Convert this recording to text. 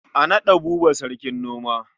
A naɗa Buba sarkin noma.